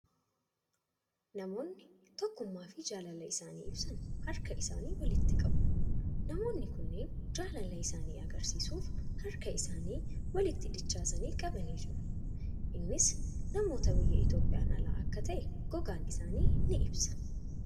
Namoonni tokkummaa fi jaalala isaanii ibsan harka isaanii walitti qabu. Namoonni kunneen jaalaa isaanii agarsiisuuf harka isaanii walitti dachaasanii qabanii jiru. Innis namoota biyya Itoophiyaan alaa akka ta'e, gogaan isaanii ni ibsa.